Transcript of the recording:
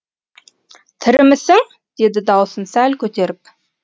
тірімісің деді даусын сәл көтеріп